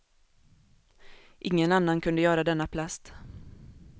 Ingen annan kunde göra denna plast.